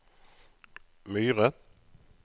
Myre